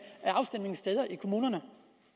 afstemningssteder i kommunerne